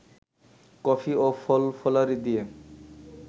coffee ও ফলফলারি দিয়ে